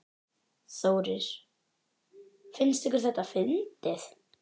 Þórir: Finnst ykkur þetta fyndið?